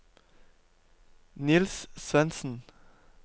Niels Svensen